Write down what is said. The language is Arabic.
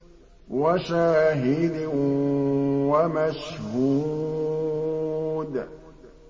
وَشَاهِدٍ وَمَشْهُودٍ